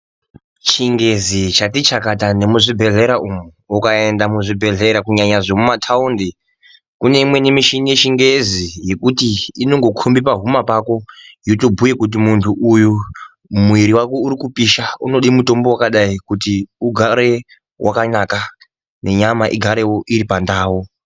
Chingezi chati chakata nemuzvibhedhleya umu, ukaenda muzvibhedhleya kunyanya zvemumataundi kune imweni michini yechingezi yekuti inongokomba pahuma pako yotobhuya kuti muntu uyu mwiri wake uri kupisha unode mutombo wakadai kuti ugare wakanaka nenyama igarewo iri pandau.